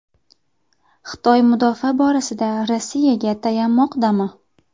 Xitoy mudofaa borasida Rossiyaga tayanmoqdami?